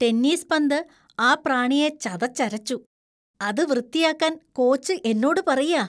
Tennis പന്ത് ആ പ്രാണിയെ ചതച്ചരച്ചു, അത് വൃത്തിയാക്കാൻ കോച്ച് എന്നോട് പറയാ.